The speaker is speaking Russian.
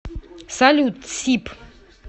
салют тсип